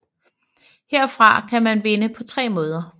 Herfra kan man vinde på tre måder